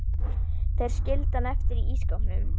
Þeir skildu hann eftir í ísskápnum.